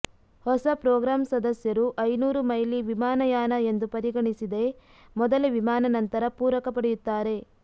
ಹೊಸ ಪ್ರೋಗ್ರಾಂ ಸದಸ್ಯರು ಐನೂರು ಮೈಲಿ ವಿಮಾನಯಾನ ಎಂದು ಪರಿಗಣಿಸಿದೆ ಮೊದಲ ವಿಮಾನ ನಂತರ ಪೂರಕ ಪಡೆಯುತ್ತಾರೆ